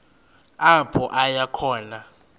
apho aya khona